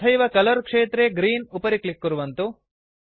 तथैव कलर क्षेत्रे ग्रीन् उपरि क्लिक् कुर्वन्तु